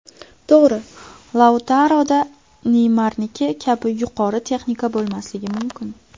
To‘g‘ri, Lautaroda Neymarniki kabi yuqori texnika bo‘lmasligi mumkin.